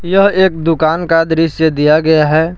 यह एक दुकान का दृश्य दिया गया है।